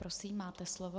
Prosím, máte slovo.